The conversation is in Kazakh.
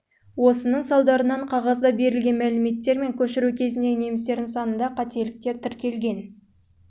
осының салдарынан қағазда берілген мәліметтер мен көшіру кезіндегі немістердің санында қателіктер тіркелген